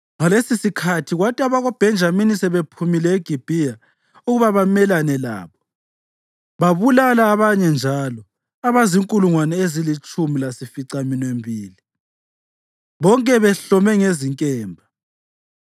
Ngalesisikhathi, kwathi abakoBhenjamini sebephumile eGibhiya ukuba bamelane labo, babulala abanye njalo abazinkulungwane ezilitshumi lasificaminwembili, bonke behlome ngezinkemba.